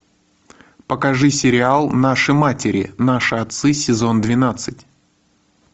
покажи сериал наши матери наши отцы сезон двенадцать